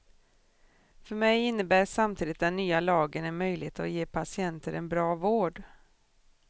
För mig innebär samtidigt den nya lagen en möjlighet att ge patienter en bra vård.